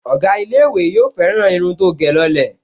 Ọ̀gá ilé-ìwé yóò fẹ́ràn irun tó gẹ̀ lọ lẹ̀